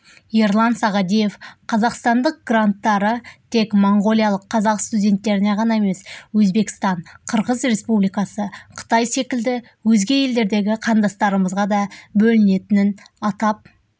ерлан сағадиев қазақстандық гранттары тек моңғолиялық қазақ студенттеріне ғана емес өзбекстан қырғыз республикасы қытай секілді өзге елдердегі қандастарымызға да бөлінетінін атап